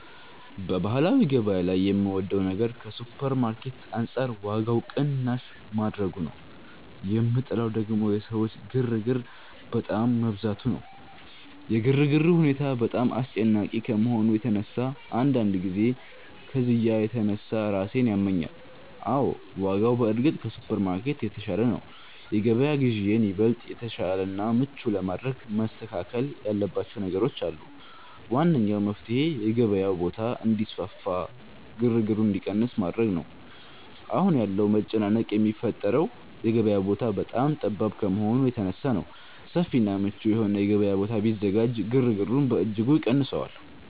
በባህላዊ ገበያ ላይ የምወደው ነገር ከሱፐርማርኬት አንጻር ዋጋው ቅናሽ ማድረጉ ነው፤ የምጠላው ደግሞ የሰዎች ግርግር በጣም መብዛቱ ነው። የግርግሩ ሁኔታ በጣም አስጨናቂ ከመሆኑ የተነሳ አንዳንድ ጊዜ ከዝያ የተነሳ ራሴን ያመኛል። አዎ፣ ዋጋው በእርግጥ ከሱፐርማርኬት የተሻለ ነው። የገበያ ግዢዬን ይበልጥ የተሻለና ምቹ ለማድረግ መስተካከል ያለባቸው ነገሮች አሉ። ዋነኛው መፍትሔ የገበያው ቦታ እንዲሰፋና ግርግሩ እንዲቀንስ ማድረግ ነው። አሁን ያለው መጨናነቅ የሚፈጠረው የገበያው ቦታ በጣም ጠባብ ከመሆኑ የተነሳ በመሆኑ፣ ሰፊና ምቹ የሆነ የገበያ ቦታ ቢዘጋጅ ግርግሩን በእጅጉ ይቀንሰዋል